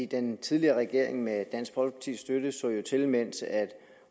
den tidligere regering med dansk folkepartis støtte så jo til mens